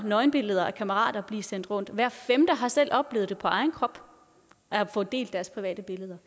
nøgenbilleder af kammerater blive sendt rundt og hver femte har selv oplevet på egen krop at få delt private billeder